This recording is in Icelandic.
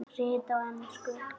Rit á ensku